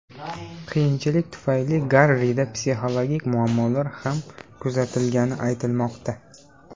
Qiyinchiliklar tufayli Garrida psixologik muammolar ham kuzatilgani aytilmoqda.